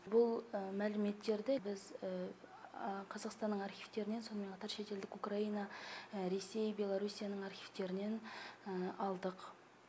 бұл мәліметтерді біз қазақстанның архивтерінен сонымен қатар шетелдік украина ресей беларуссияның архивтерінен алдық